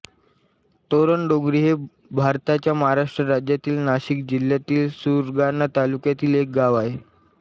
तोरणडोंगरी हे भारताच्या महाराष्ट्र राज्यातील नाशिक जिल्ह्यातील सुरगाणा तालुक्यातील एक गाव आहे